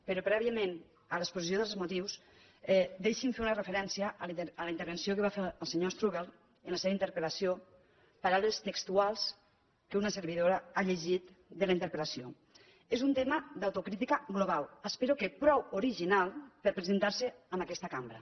però prèviament a l’exposició dels motius deixin me fer una referència a la intervenció que va fer el senyor strubell en la seva interpel·lació paraules textuals que una servidora ha llegit de la interpel·lació és un tema d’autocrítica global espero que prou original per presentar se en aquesta cambra